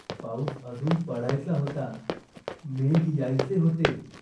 पाऊस अजून पडायचा होता. मेघ यायचे होते.